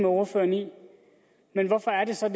ordføreren i hvorfor er det så